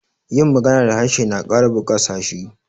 yin magana da harshe na Kara bukasa s hi